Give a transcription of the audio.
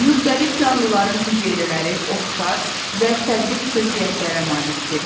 Müxtəlif canlıların hüceyrələri oxşar və fərqli xüsusiyyətlərə malikdir.